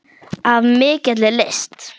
Af mikilli lyst.